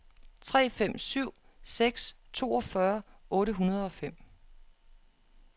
tre fem syv seks toogfyrre otte hundrede og fem